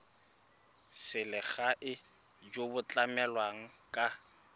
selegae jo bo tlamelang ka